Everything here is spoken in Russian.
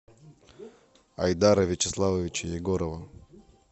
айдара вячеславовича егорова